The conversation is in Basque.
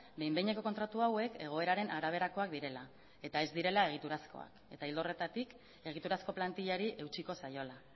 behin behineko kontratu hauek egoeraren araberakoak direla eta ez direla egiturazkoak eta ildo horretatik egiturazko plantillari eutsiko zaiola